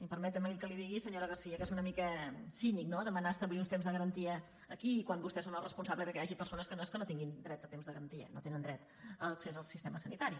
i permeti’m que li digui senyora garcía que és una mica cínic no demanar establir uns temps de garantia aquí quan vostès són els responsables que hi hagi persones que no és que no tinguin dret a temps de garantia no tenen dret a l’accés al sistema sanitari